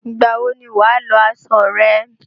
Ìgbà wọ ni wà á lọ aṣọ rẹ?